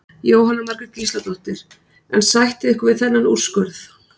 Jóhanna Margrét Gísladóttir: En sættið ykkur ekki við þennan úrskurð?